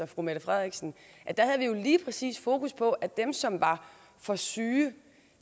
fru mette frederiksen lige præcis havde fokus på dem som var for syge